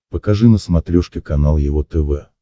покажи на смотрешке канал его тв